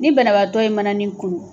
Ni banabaatɔ ye mananin kunun